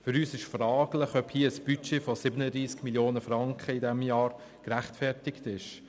Für uns ist es fraglich, ob ein Budget von 37 Mio. Franken für dieses Jahr gerechtfertigt ist.